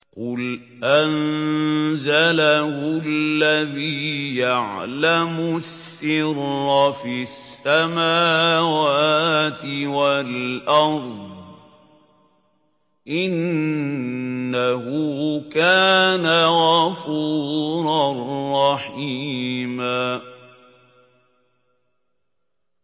قُلْ أَنزَلَهُ الَّذِي يَعْلَمُ السِّرَّ فِي السَّمَاوَاتِ وَالْأَرْضِ ۚ إِنَّهُ كَانَ غَفُورًا رَّحِيمًا